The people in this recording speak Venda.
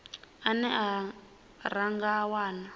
ane ra nga a wana